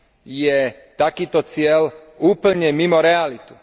je takýto cieľ úplne mimo realitu.